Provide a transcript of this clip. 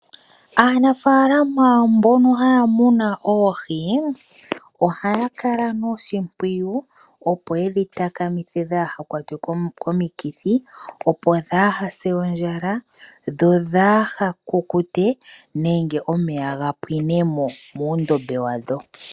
Aanafaalama mbono haya muna oohi, ohaya kala noshimpwiyu opo yedhi takamithe kaadhi kwatwe komikithi, kaadhi se ondjala, kaadhi kukute nenge omeya ga pwine mo moondombe dhadho.